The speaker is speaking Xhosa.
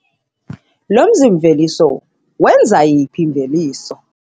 Lo mzi-mveliso wenza yiphi imveliso?